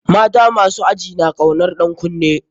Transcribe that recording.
Mata masu aji na kaunar ɗan kunne.